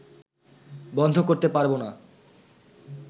বন্ধ করতে পারব না